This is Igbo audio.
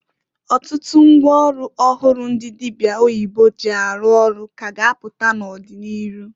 Ọtụtụ ngwa ọlụ ọhụrụ ndị dịbịa oyibo ji arụ ọrụ ka a ga apụta n'ọdị n'ịrụ.